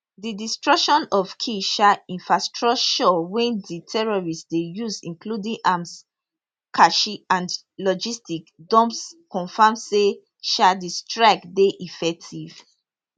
di destruction of key um infrastructure wey di terrorists dey use including arms cache and logistics dumps confam say um di strike dey effective